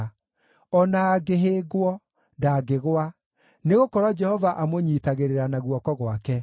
o na angĩhĩngwo, ndangĩgũa, nĩgũkorwo Jehova amũnyiitagĩrĩra na guoko gwake.